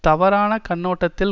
தவறான கண்ணோட்டத்தில்